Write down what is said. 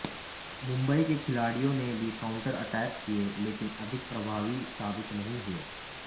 मुंबई के खिलाड़ियों ने भी काउंटर अटैक किए लेकिन अधिक प्रभावी साबित नहीं हुए